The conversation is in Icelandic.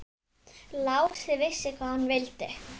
Lási vissi hvað hann vildi.